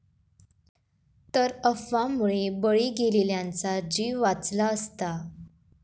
...तर अफवांमुळे बळी गेलेल्यांचा जीव वाचला असता